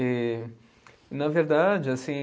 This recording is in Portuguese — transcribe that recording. E, na verdade, assim.